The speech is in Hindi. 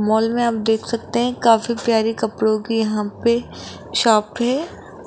मॉल में हम देख सकते हैं काफी प्यारी कपड़ों की यहां पे शॉप है